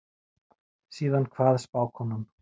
Síðan kvað spákonan